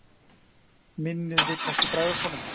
Minnið vill ekki bregðast honum.